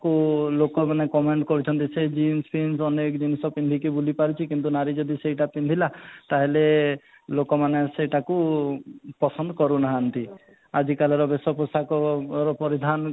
କୁ ଲୋକ ମାନେ comment କରୁଛନ୍ତି ସେ jeans ବନେଇକି ଜିନିଷ ପିନ୍ଧିକି ବୁଲି ପାରୁଛି କିନ୍ତୁ ନାରୀ ଯଦି ସେଇଟା ପିନ୍ଧିଲା ତାହେଲେ ଲୋକମାନେ ସେ ତାକୁ ପସନ୍ଦ କରୁନାହାନ୍ତି ଆଜି କାଲିର ବେଶ ପୋଷାକ ଉପରେ ଧ୍ୟାନକୁ